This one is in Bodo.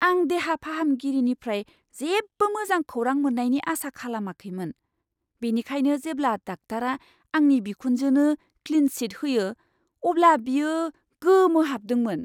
आं देहा फाहामगिरिनिफ्राय जेबो मोजां खौरां मोन्नायनि आसा खालामाखैमोन, बिनिखायनो जेब्ला डाक्टारा आंनि बिखुनजोनो क्लिन चिट होयो, अब्ला बियो गोमोहाबदोंमोन!